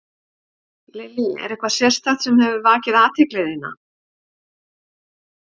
Lillý: Er eitthvað sérstakt sem hefur vakið athygli þína?